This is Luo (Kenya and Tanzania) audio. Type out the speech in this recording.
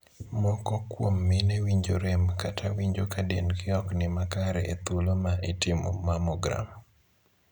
Moko kuom mine winjo rem kata winjo ka dendgi ok ni makare e thuolo ma itimo 'mammogram'.